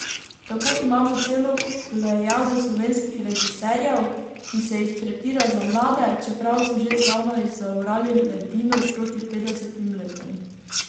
Tako imamo celo plejado slovenskih režiserjev, ki se jih tretira za mlade, čeprav so že zdavnaj zaorali ledino proti petdesetim letom.